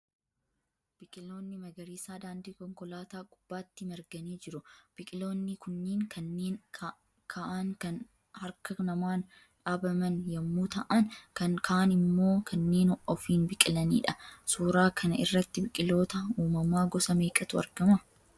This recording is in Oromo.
Biqiloonni magariisaa daandii konkolaataa gubbaatti marganii jiru. Biqiloonni kunniin kanneen ka'aan kan harka namaan dhaabaman yemmuu ta'aan kaan immoo kanneen ofiin biqilaniidha. Suuraa kana irratti biqiloota uumamaa gosa meeqatu argama?